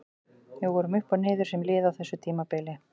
Við vorum upp og niður sem lið á þessu tímabili.